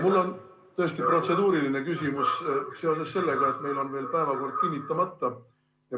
Mul on tõesti protseduuriline küsimus, seoses sellega, et meil on veel päevakord kinnitamata.